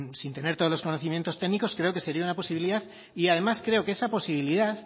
sin tener todos los conocimientos técnicos creo que sería una posibilidad y además creo que esa posibilidad